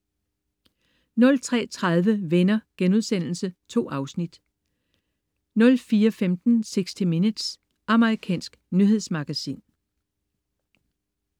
03.30 Venner.* 2 afsnit 04.15 60 Minutes. Amerikansk nyhedsmagasin